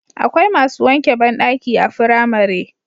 Akwai masu wanke bandaki a firamare